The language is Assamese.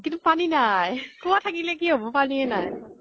কিন্তু পানী নাই । কুৱাঁ থাকিলে কি হʼব, পানীয়ে নাই ।